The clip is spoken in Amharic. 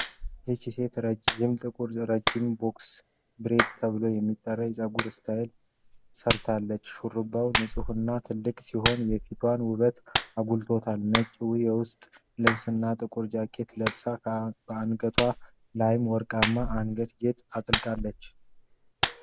ይች ሴት ጥቁርና ረጅም ቦክስ ብሬድ ተብሎ የሚጠራ የፀጉር ስታይል ሰርታለች። ሹሩባው ንፁህና ትልቅ ሲሆን የፊቷን ውበት አጉልቶታል። ነጭ የውስጥ ልብስ እና ጥቁር ጃኬት ለብሳ በአንገቷ ላይም ወርቃማ የአንገት ጌጥ አጥልቃለች።